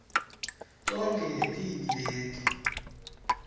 tonkhe tibi leti